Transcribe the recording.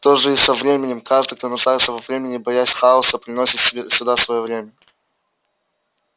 то же и со временем каждый кто нуждается во времени боясь хаоса приносит сюда своё время